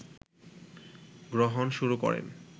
গ্রহণ শুরু করেন